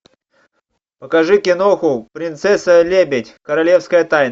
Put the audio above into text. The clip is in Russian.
покажи киноху принцесса лебедь королевская тайна